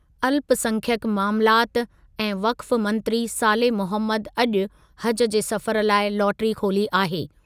अल्पसंख्यक मामलात ऐं वक्फ मंत्री साले मोहम्मद अॼु हज जे सफ़र लाइ लाटरी खोली आहे।